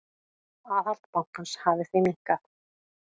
Aðhald bankans hafi því minnkað.